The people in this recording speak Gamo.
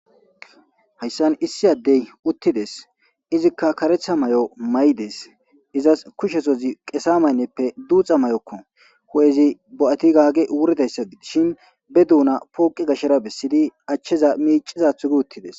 Hayssan issi addey uttides izikka karetha may'o may'des izas kushesozi qesa maynneppe duuxa may.okko ho.ezi bo.ati gaagi wuridayssa shin be duuna pooqi gashshera bessidi achcheza miicizathu gi uttides.